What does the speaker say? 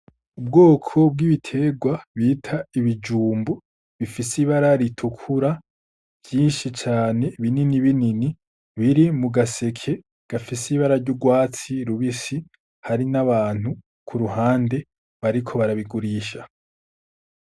Ubwoko bw'ibiterwa bita ibijumbu bifise ibara ritukura vyinshi cane binini biri mu gaseke gafise ibara ry'urwatsi rubisi hari n'abantu kuruhande bariko barabigurisha.